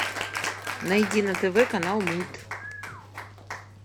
найди на тв канал мульт